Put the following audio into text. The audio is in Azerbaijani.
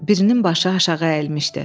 Birinin başı aşağı əyilmişdi.